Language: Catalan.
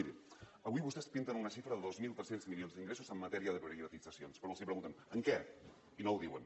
miri avui vostès pinten una xifra de dos mil tres cents milions d’ingressos en matèria de privatitzacions però els preguntem en què i no ho diuen